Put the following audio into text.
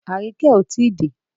Aríkẹ́ ò tí dé.